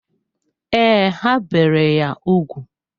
Ee, ha bere ya úgwù.